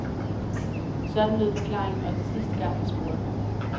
Sådan lød forklaringen også sidste gang, jeg spurgte.